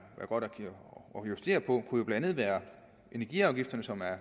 gode kunne blandt andet være energiafgifterne som er